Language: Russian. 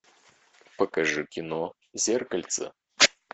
покажи кино зеркальце